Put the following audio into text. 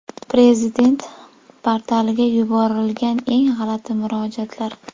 Prezident portaliga yuborilgan eng g‘alati murojaatlar.